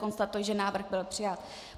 Konstatuji, že návrh byl přijat.